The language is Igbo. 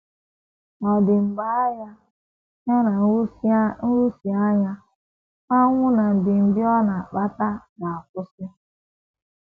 Ọ̀ dị mgbe agha — ya na nhụsianya, ọnwụ, na mbibi ọ na - akpata — ga - akwụsị?